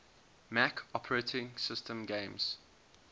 mac os games